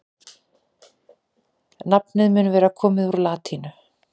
nafnið mun vera komið úr latínu